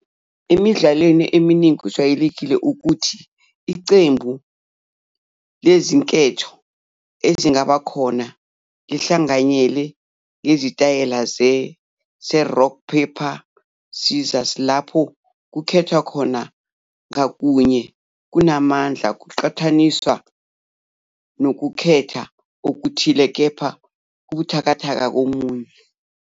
Emidlalweni eminingi, kujwayelekile ukuthi iqembu lezinketho ezingaba khona lihlanganyele ngesitayela se-rock paper scissors, lapho ukukhethwa ngakunye kunamandla ngokuqhathanisa nokukhetha okuthile, kepha kubuthakathaka komunye.